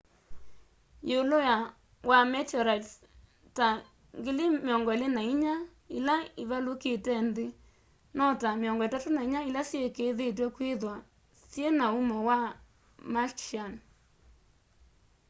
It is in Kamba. yiulu wa meteorites ta 24,000 ila ivalukite nthi no ta 34 ila syikiithitw'e kwithwa syina umo wa martian